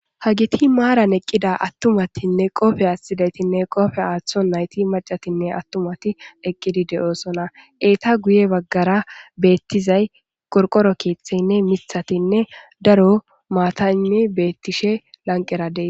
Hageti maran eqida atumatine qophiya atidaytinne qophiya atonayti mac'atinne atumati eqidi de'osona eta guye bagara betizay qorqoro kethatinne mithatinne daro mataynne betishe lanqera des.